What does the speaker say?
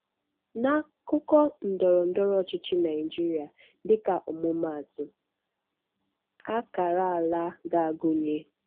N'akụkọ ndọrọ ndọrọ ọchịchị Naijiria, um dịka ọmụmaatụ, akara ala ga-agụnye: